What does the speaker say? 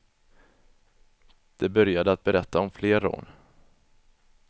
De började att berätta om fler rån.